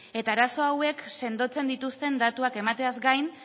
eta arazo hauek sendotzen dituzten datuak emateaz gain